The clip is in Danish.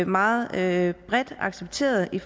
meget bredt accepteret i